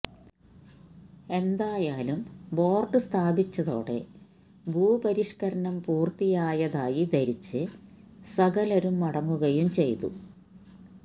എന്തായാലും ബോര്ഡ് സ്ഥാപിച്ചതോടെ ഭൂപരിഷ്കരണം പൂര്ത്തിയായതായി ധരിച്ച് സകലരും മടങ്ങുകയും ചെയ്തു